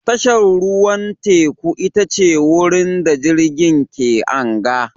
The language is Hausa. Tashar ruwan teku ita ce wurin da jirgin ke anga